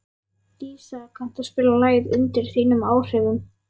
Dísa, kanntu að spila lagið „Undir þínum áhrifum“?